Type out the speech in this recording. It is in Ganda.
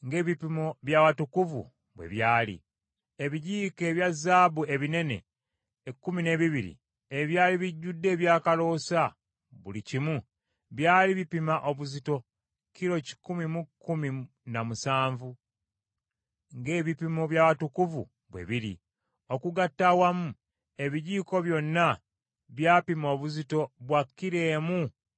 Ebijiiko ebya zaabu ebinene ekkumi n’ebibiri ebyali bijjudde ebyakaloosa buli kimu, byali bipima obuzito kilo kikumi mu kkumi na musanvu, ng’ebipimo by’awatukuvu bwe biri. Okugatta awamu ebijiiko byonna byapima obuzito bwa kilo emu ne desimoolo nnya.